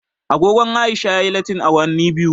Agogon Aisha ya yi lattin awanni biyu